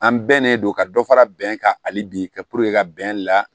An bɛnnen don ka dɔ fara bɛn kan hali bi ka ka bɛn la